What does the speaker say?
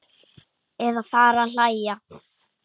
Eða fara að hlæja.